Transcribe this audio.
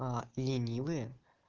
а ленивые